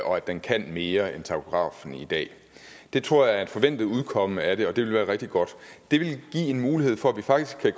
og at den kan mere end takografen i dag det tror jeg er et forventet udkomme af det og det vil være rigtig godt det vil give en mulighed for at vi faktisk